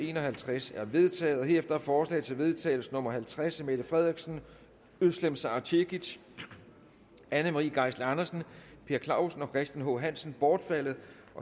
en og halvtreds er vedtaget herefter er forslag til vedtagelse nummer v halvtreds af mette frederiksen özlem sara cekic anne marie geisler andersen per clausen og christian h hansen bortfaldet